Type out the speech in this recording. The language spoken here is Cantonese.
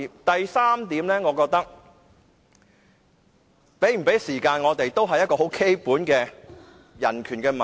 第三點，我們有無時間發言是基本的人權問題。